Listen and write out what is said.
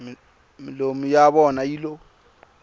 milomu ya vona yi lo